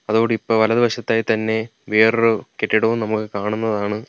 അതോടിപ്പോ വലതു വശത്തായി തന്നെ വേറൊരു കെട്ടിടവും നമുക്ക് കാണുന്നതാണ്.